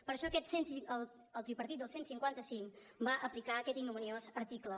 per això el tripartit del cent i cinquanta cinc va aplicar aquest ignominiós article